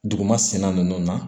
Duguma senna ninnu na